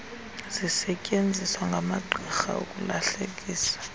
zisetyeenziswa ngamagqirha ukulahlekisa